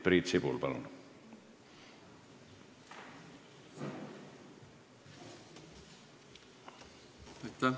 Priit Sibul, palun!